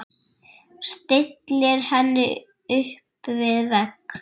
Stillir henni upp við vegg.